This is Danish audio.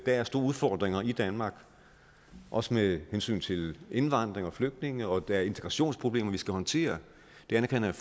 er store udfordringer i danmark også med hensyn til indvandring og flygtninge og at der er integrationsproblemer som skal håndteres det anerkender